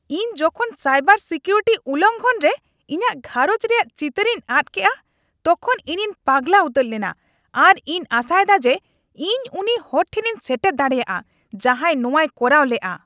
ᱤᱧ ᱡᱚᱠᱷᱚᱱ cyber security ᱩᱞᱚᱝᱜᱷᱚᱱ ᱨᱮ ᱤᱧᱟᱜ ᱜᱷᱟᱸᱨᱚᱧᱡᱽ ᱨᱮᱭᱟᱜ ᱪᱤᱛᱟᱹᱨᱤᱧ ᱟᱫ ᱠᱮᱫᱼᱟ ᱛᱚᱠᱷᱚᱱ ᱤᱧᱤᱧ ᱯᱟᱜᱞᱟ ᱩᱛᱟᱹᱨ ᱞᱮᱱᱟ ᱟᱨ ᱤᱧ ᱟᱥᱟ ᱮᱫᱟ ᱡᱮ ᱤᱧ ᱩᱱᱤ ᱦᱚᱲ ᱴᱷᱮᱱᱤᱧ ᱥᱮᱴᱮᱨ ᱫᱟᱲᱮᱭᱟᱜᱼᱟ ᱡᱟᱦᱟᱸᱭ ᱱᱚᱶᱟᱭ ᱠᱚᱨᱟᱣ ᱞᱮᱜᱼᱟ ᱾